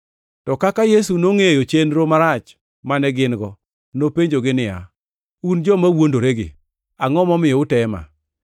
To kaka Yesu nongʼeyo chenro marach mane gin-go, nopenjogi niya, “Un joma wuondoregi, angʼo momiyo utema?